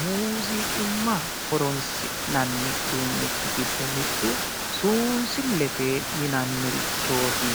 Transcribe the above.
muuziiqimma horonsinnanirichi gido mittu suusullete yinannirichooti.